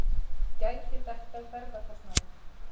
Gæti dekkað ferðakostnaðinn.